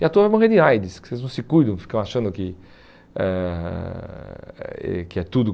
E a tua vai morrer de AIDS, porque vocês não se cuidam, ficam achando que ãh eh que é tudo